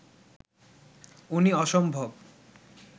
উনি অসম্ভব